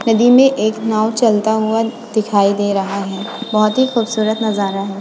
नदी में एक नाव चलता हुआ दिखाई दे रहा है बहुत ही खूबसूरत नज़ारा है।